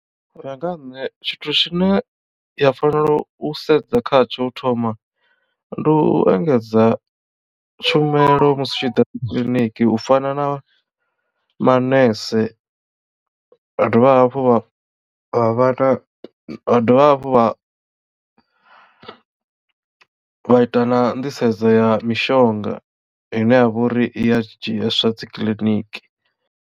Uya nga ha nṋe tshithu tshine ya fanela u sedza kha tsho u thoma ndi u engedza tshumelo musi u tshi ḓa kiḽiniki u fana na manese vha dovha hafhu vha vha vhana vha dovha hafhu vha vha ita na nḓisedzo ya mishonga ine ya vha uri i a dzhieswa dzikiḽiniki.